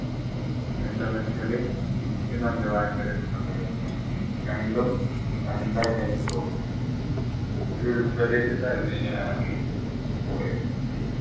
എന്താണ് വെച്ചാൽ ഭയങ്കര different ആയിരുന്നു രണ്ടും രണ്ടായിട്ട എനിക്ക് തോന്നി ഒരു ഉൾപ്രദേശത്തായിരുന്നു ഞാൻ പോയത്